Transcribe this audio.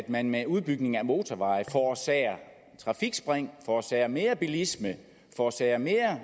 man med udbygning af motorveje forårsager trafikspring forårsager mere bilisme forårsager mere